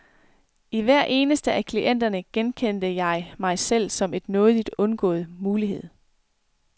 I hver eneste af klienterne genkendte jeg mig selv som en nådigt undgået mulighed.